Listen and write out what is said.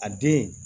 A den